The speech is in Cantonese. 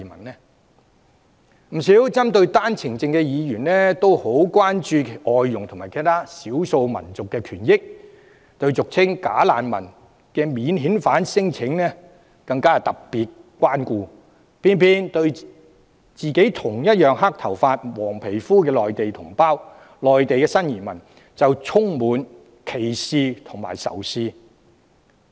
不少針對單程證制度的議員也很關注外傭及其他少數族裔的權益，對俗稱"假難民"的免遣返聲請者更特別關顧，卻偏偏對與自己同樣是黑頭髮與黃皮膚的內地同胞及新移民充滿歧視和仇視。